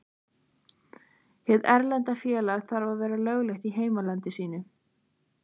Hið erlenda félag þarf að vera löglegt í heimalandi sínu.